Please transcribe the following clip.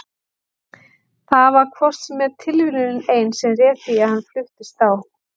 Það var hvort sem er tilviljunin ein sem réð því að hann fluttist á